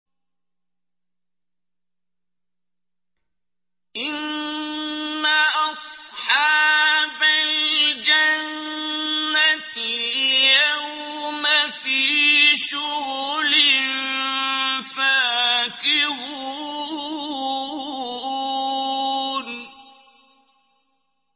إِنَّ أَصْحَابَ الْجَنَّةِ الْيَوْمَ فِي شُغُلٍ فَاكِهُونَ